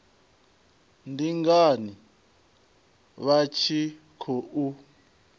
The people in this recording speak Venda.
ndi ngani vha tshi khou